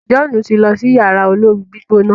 John ti n ló sí Yàrá olóoru-gbígbóná.